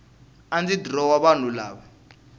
a ndzi dirowa vanhu lava